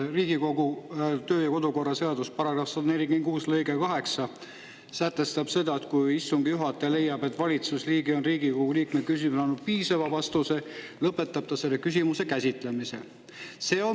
Riigikogu kodu- ja töökorra seaduse § 146 lõige 8 sätestab: kui istungi juhataja leiab, et valitsusliige on Riigikogu liikme küsimusele andnud piisava vastuse, lõpetab ta selle küsimuse käsitlemise.